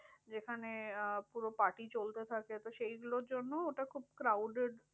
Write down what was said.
যেখানে আহ পুরো party চলতে থাকে। তো এইগুলোর জন্য ওটা খুব crowded